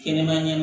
Kɛnɛma ɲana